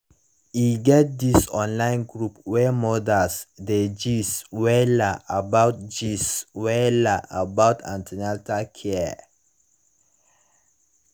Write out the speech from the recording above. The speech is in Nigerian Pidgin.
e get this online group wey mothers dey gist wella about gist wella about an ten atal care